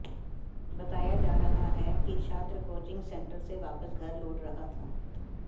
बताया जा रहा है कि छात्र कोचिंग सेंटर से वापस घर लौट रहा था